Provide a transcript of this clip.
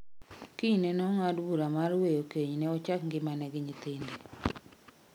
Kinyne nong'ado bura mar weyo kenyne ochak ngimane gi nyathine